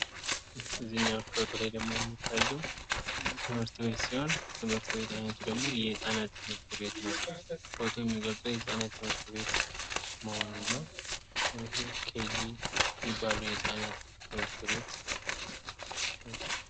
ከዚኛው ፎቶ ላይ ደግሞ የሚታየው ትምህርት ቤት ሲሆን ትምህርት ቤት አይነቱ ደግሞ የህጻናት ትምህርት ቤት ነው። ፎቶው የሚገልጸው የህጻናት ትምህርት ቤት መሆኑን ነው። ወይም ኬጅ የሚባለው የህጻናት ትምህርት ቤት ነው።